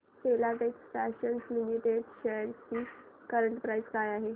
Filatex fashions limited shares ची current price काय आहे